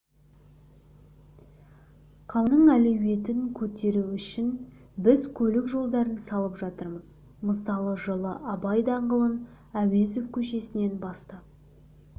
қаланың әлеуетін көтеру үшін біз көлік жолдарын салып жатырмыз мысалы жылы абай даңғылын әуезов көшесінен бастап